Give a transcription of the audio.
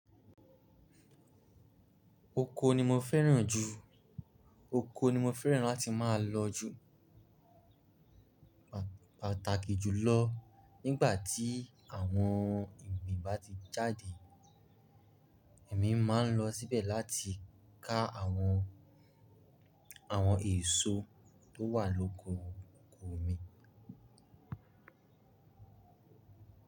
Oko ni mo fẹ́ràn jù, oko ni mo fẹ́ràn láti máa lọ jù. Pàtàkì jùlọ nígbà tí àwọn ìgbín bá ti jáde, èmi má a ń lọ síbẹ̀ láti ká àwọn, àwọn èso tó wà l’oko oko mi.